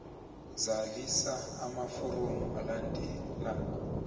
zalisa amaforomo alandelako